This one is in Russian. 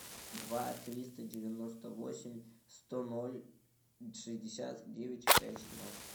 два триста девяносто восемь сто ноль шестьдесят девять пять два